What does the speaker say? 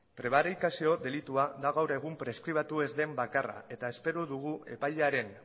prebarikazio delitua da gaur egun preskribatu ez den bakarra eta espero dugu epaiaren